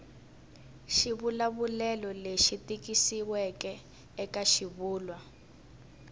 xivulavulelo lexi tikisiweke eka xivulwa